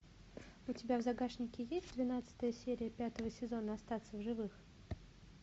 у тебя в загашнике есть двенадцатая серия пятого сезона остаться в живых